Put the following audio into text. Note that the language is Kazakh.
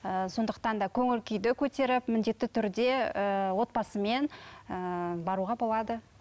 ііі сондықтан да көңіл күйді көтеріп міндетті түрде ііі отбасымен ііі баруға болады